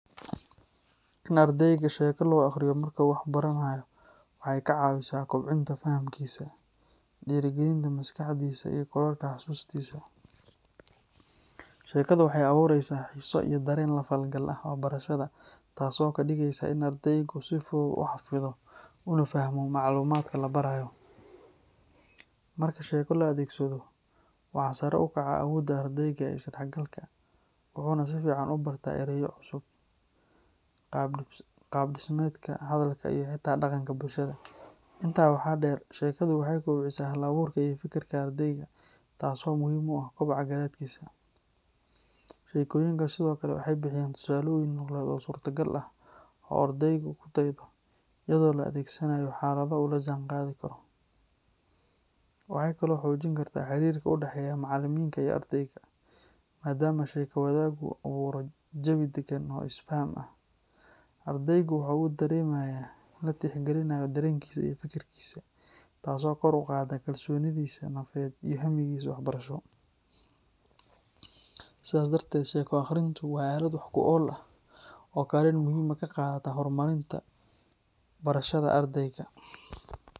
In ardeyga sheeko loo aqriyo marka uu wax baranayo waxa ay ka caawisaa kobcinta fahamkiisa, dhiirrigelinta maskaxdiisa iyo kororka xasuustiisa. Sheekadu waxay abuureysaa xiiso iyo dareen la falgal ah waxbarashada taas oo ka dhigeysa in ardeygu si fudud u xafido una fahmo macluumaadka la barayo. Marka sheeko la adeegsado, waxaa sare u kaca awoodda ardeyga ee is-dhexgalka, wuxuuna si fiican u bartaa erayo cusub, qaabdhismeedka hadalka iyo xitaa dhaqanka bulshada. Intaa waxaa dheer, sheekadu waxay kobcisaa hal-abuurka iyo fikirka ardeyga, taas oo muhiim u ah koboca garaadkiisa. Sheekooyinka sidoo kale waxay bixiyaan tusaalooyin nololeed oo suurtagal ah oo ardeygu ku daydo, iyadoo la adeegsanayo xaalado uu la jaanqaadi karo. Waxay kaloo xoojin kartaa xiriirka u dhexeeya macallinka iyo ardeyga, maadaama sheeko wadaaggu abuuro jawi degan oo is-faham ah. Ardeygu waxa uu dareemayaa in la tixgelinayo dareenkiisa iyo fikirkiisa, taasoo kor u qaadda kalsoonidiisa nafeed iyo hamigiisa waxbarasho. Sidaas darteed, sheeko akhrintu waa aalad wax ku ool ah oo kaalin muhiim ah ka qaadata horumarinta barashada ardeyga.